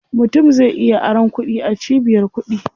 Mutum zai iya aron kuɗi a cibiyar kuɗi.